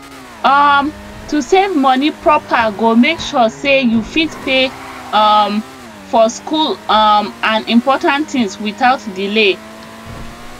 um to save moni proper go make sure say you fit pay um for school um and important things without delay